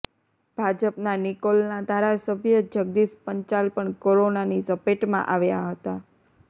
ભાજપના નિકોલના ધારાસભ્ય જગદીશ પંચાલ પણ કોરોનાની ઝપેટમાં આવ્યા હતા